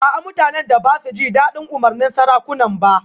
A'a mutanen da ba su ji dadin umarnin sarakunan ba